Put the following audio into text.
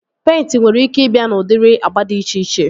Peịnti nwere ike ị bịa n'udiri agba dị iche iche